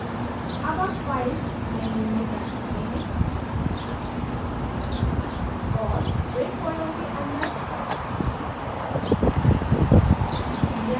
अब आप files menu में जा सकते हैं और build folder के अंदर